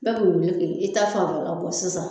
Bɛɛ de be wuli k'i ta fanfɛla bɔ sisan